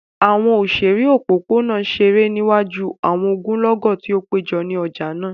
Awọn oṣere opopona ṣere niwaju awọn ogunlọgọ ti o pejọ ni ọja naa.